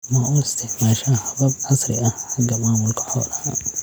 Ma u isticmaashaa habab casri ah xagga maamulka xoolaha?